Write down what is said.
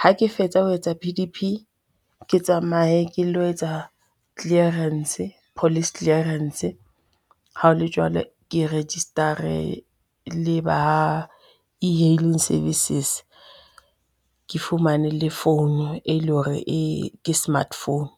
Ha ke fetsa ho etsa P_D_P, ke tsamaye ke lo etsa clearance, police clearance ha ho le jwalo ke register-e le ba e-hailing services, ke fumane le founu e leng hore ke smart phone.